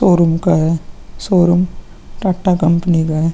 Showroom का है। Showroom Tata company का है।